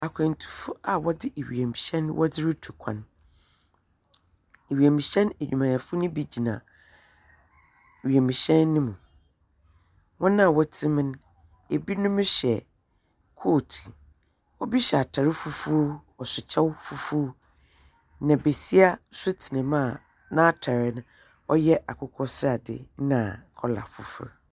Akwantufo a wɔdze wiemhyɛn wɔdze rutu kwan, wiemhyɛn edwumayɛfo no bi gyina wiemhyɛn no mu. Hɔn a wɔtse mu no, binom hyɛ coat, obi hyɛ atar fufuw, ɔhyɛ kyɛw fufuw. Na basia so tsena mu a n’atar no ɔyɛ akokɔsrade na colour fofor.